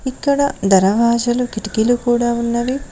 ఇక్కడ ధరవాజలు కిటికీలు కూడా ఉన్నవి.